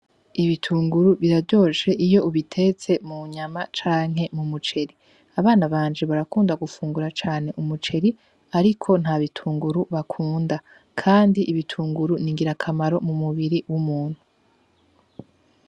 Ibitunguru biraryoshe Iyo ubitetse mu nyama canke mu muceri. Abana banje barakunda gufungura cane umuceri , ariko nta bitunguru bakunda . Kandi ibitunguru n'ingirakamaro mu mubiri w'umuntu.